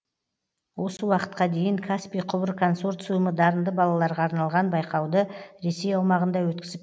осы уақытқа дейін каспий құбыр консорциумы дарынды балаларға арналған байқауды ресей аумағында өткізіп